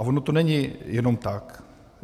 A ono to není jenom tak.